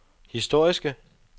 historiske